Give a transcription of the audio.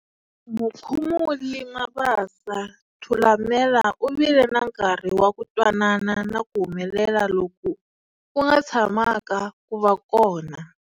Mukhumuli Mabasa, Thulamela u vile na nkarhi wa ku twanana na ku humelela loku ku nga tshamaka ku va kona.